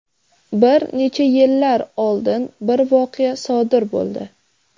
Bir necha yillar oldin bir voqea sodir bo‘ldi.